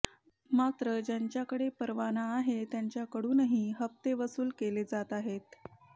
मात्र ज्यांच्याकडे परवाना आहे त्यांच्याकडूनही हप्ते वसुल केले जात आहेत